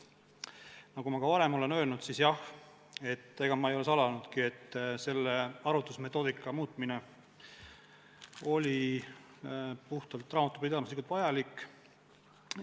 Nagu ma ka varem olen öelnud, siis jah, ega ma ei ole salanudki, et arvutusmetoodika muutmine oli puhtalt raamatupidamislikult vajalik.